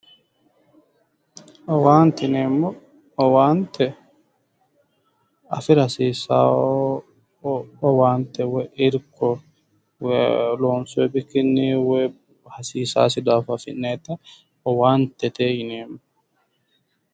Owaante yinneemmo, owaante afira hasiisano owaante woyi irko loonsonni bikkinni woyi hasiisano garinni afi'nannitta owaantete yinneemmo